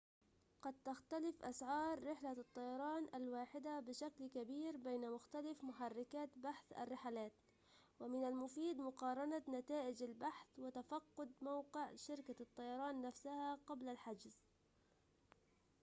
قد تختلف أسعار رحلة الطيران الواحدة بشكل كبير بين مختلف محركات بحث الرحلات ومن المفيد مقارنة نتائج البحث وتفقد موقع شركة الطيران نفسها قبل الحجز